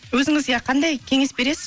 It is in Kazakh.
өзіңіз иә қандай кеңес бересіз